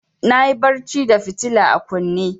Na yi barci da fitila a kunne.